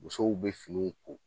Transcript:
Musow be finiw ko